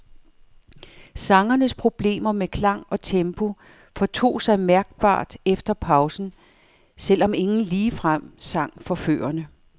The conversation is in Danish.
Sangernes problemer med klang og tempo fortog sig mærkbart efter pausen, selv om ingen ligefrem sang forførende.